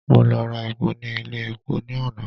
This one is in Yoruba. Mo lọ ra epo ní ilé epo ní àná.